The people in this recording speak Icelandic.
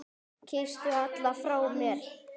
Kysstu alla frá mér.